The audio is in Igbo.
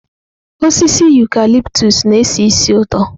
Osisi ụcalịptụs na-esi ísì ụtọ.